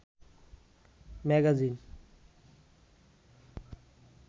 magazine